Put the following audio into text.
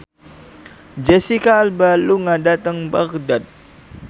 Jesicca Alba lunga dhateng Baghdad